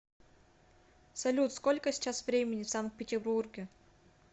салют сколько сейчас времени в санкт петербурге